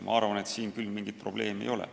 Ma arvan, et siin küll mingit probleemi ei ole.